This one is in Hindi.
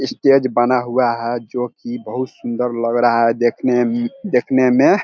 स्टेज बना हुआ है जो की बहुत सुंदर लग रहा है देखने मम देखने में।